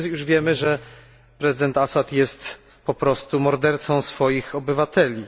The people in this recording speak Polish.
Wszyscy już wiemy, że prezydent Assad jest po prostu mordercą swoich obywateli.